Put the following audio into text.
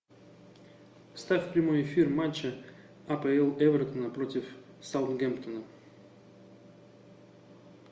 ставь прямой эфир матча апл эвертона против саутгемптона